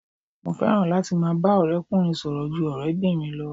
Mo fẹ́ràn láti máa bá ọ̀rẹ́ ọkùnrin sọ̀rọ̀ ju ọ̀rẹ́ obìnrin lọ.